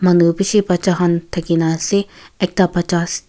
manu beshi baccha kan takina ase ekta bachas.